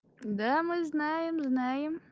да мы знаем знаем